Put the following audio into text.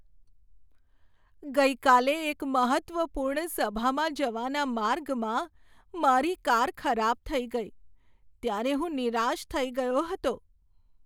ગઈકાલે એક મહત્ત્વપૂર્ણ સભામાં જવાના માર્ગમાં મારી કાર ખરાબ થઈ ગઈ ત્યારે હું નિરાશ થઈ ગયો હતો.